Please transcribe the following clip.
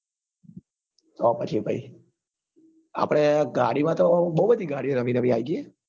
તો પછી પહી આપડે ગાડી માતો બઉ બધી ગાડીઓ નવી નવી આયી ગયી